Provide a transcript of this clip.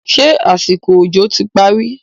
ṣe àsìkò òjò ti parí?